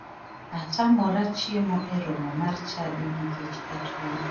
Atamora chiemo e romo mar chadi nikech atuo.